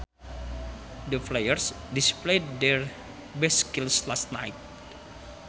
The players displayed their best skills last night